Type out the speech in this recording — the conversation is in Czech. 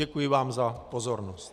Děkuji vám za pozornost.